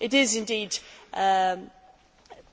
It is